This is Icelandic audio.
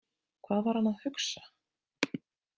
Hvað var hann að hugsa?